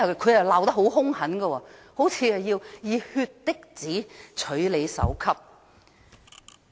他們罵得很兇狠，好像要以血滴子取人首級一樣。